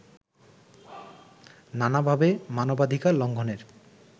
নানাভাবে মানবাধিকার লঙ্ঘনের